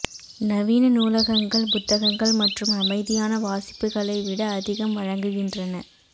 நவீன நூலகங்கள் புத்தகங்கள் மற்றும் அமைதியான வாசிப்புகளை விட அதிகம் வழங்குகின்றன